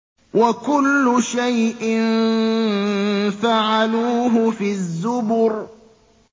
وَكُلُّ شَيْءٍ فَعَلُوهُ فِي الزُّبُرِ